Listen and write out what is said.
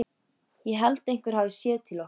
Ég held einhver hafi séð til okkar.